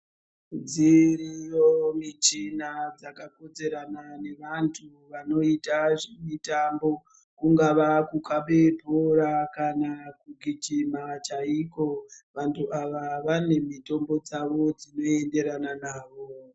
Dziriyo michina dzakakodzerana nevantu vanoita zvemitambo kungava kukhabe bhora kana kugijima chaikwo. Vantu ava vane mitombo dzavo dzinoenderana navo.